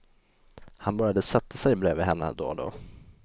Han började sätta sig bredvid henne då och då.